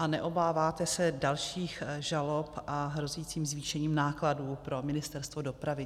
A neobáváte se dalších žalob a hrozícího zvýšení nákladů pro Ministerstvo dopravy?